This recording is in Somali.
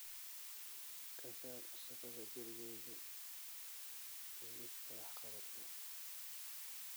Ka saar shaqada gurigayga liiska wax-qabadka